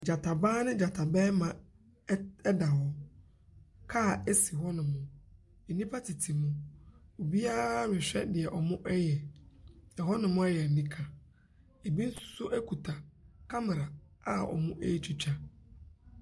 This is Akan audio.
Gyata baa ne gyata barima ɛt ɛda hɔ. Kaa si hɔnom. Nnipa tete mu. Obiara rehwɛ deɛ wɔreyɛ. Hɔnom ayɛ anika. Ebi nso kita kamera a wɔretwitwa.